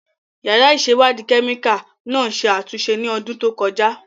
Yàrá ìṣèwádìí kẹ́míkà náà ṣe àtúnṣe ní ọdún tó kọjá.